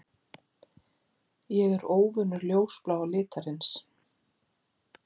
Ég er óvinur ljósbláa litarins.